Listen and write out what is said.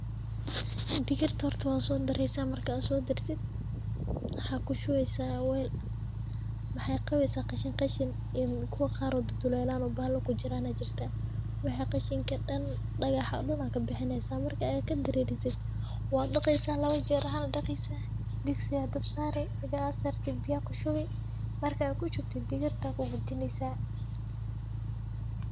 Digirta horta waa soodareysa marka aad soodartid waxaa kushubeysa waal maxey qabeysa qashin qashin iyo kuwa qaar oo dudulelaan oo bahala kujiraan ayaa jirta wixi qashinka dan dagaxa dan aa kabixieysa marka aad kadareerisid wad daqeysa lawa jeer ahaan aa daqeysa , digsi aa dabka sari igi ad sarti biya aad kushubi marki ad kushubtid digirta aa kugadineysa.